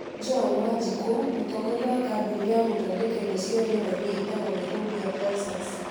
Joan Wanjiku, mũtongoria wa kambuni ya gũthondeka indo cia rĩera-inĩ ĩtagwo Nairobi Advisers,